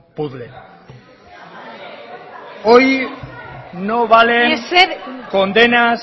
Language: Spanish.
puzle berbotsa hoy no valen condenas